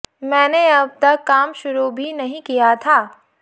मैंने अब तक काम शुरू भी नहीं किया था